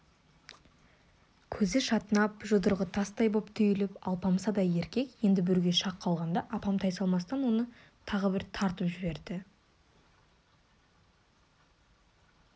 көзі шатынап жұдырығы тастай боп түйіліп алпамсадай еркек енді бүруге шақ қалғанда апам тайсалмастан оны тағы бір тартып жіберді